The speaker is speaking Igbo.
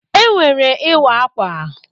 E nwere Ịwa akwa.